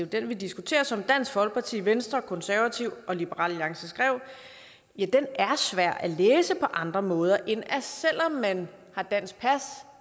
den vi diskuterer som dansk folkeparti venstre de konservative og liberal alliance skrev er svær at læse på andre måder end at selv om man har dansk pas